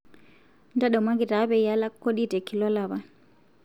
ntadamuaki taa peyie alak kodi te kila olapa